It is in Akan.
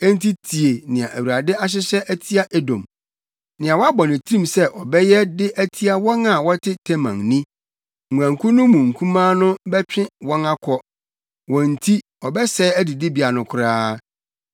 Enti tie nea Awurade ahyehyɛ atia Edom, nea wabɔ ne tirim sɛ ɔbɛyɛ de atia wɔn a wɔte Teman ni: Nguankuw no mu nkumaa no wɔbɛtwe wɔn akɔ; wɔn nti ɔbɛsɛe adidibea no koraa.